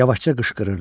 Yavaşca qışqırırdım.